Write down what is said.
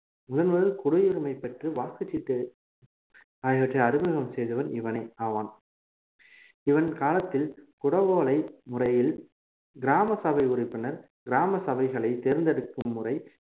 முதன் முதலில் குடியுரிமை பெற்று வாக்குச்சீட்டு ஆகியவற்றை அறிமுகம் செய்தவன் இவனே ஆவான் இவன் காலத்தில் குடவோலை முறையில் கிராமசபை உறுப்பினர் கிராம சபைகளை தேர்ந்தெடுக்கும் முறை